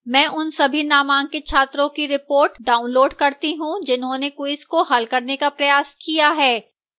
मैं उन सभी नामांकित छात्रों की report download करती हूँ जिन्होंने quiz को हल करने का प्रयास किया है